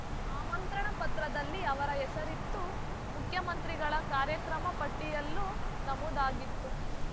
ಆಮಂತ್ರಣ ಪತ್ರದಲ್ಲಿ ಅವರ ಹೆಸರಿತ್ತು ಮುಖ್ಯಮಂತ್ರಿಗಳ ಕಾರ್ಯಕ್ರಮ ಪಟ್ಟಿಯಲ್ಲೂ ನಮೂದಾಗಿತ್ತು